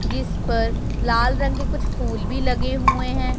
जिस पर लाल रंग के कुछ फूल भी लगे हुए हैं।